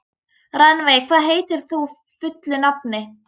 Rannveig, hvað heitir þú fullu nafni?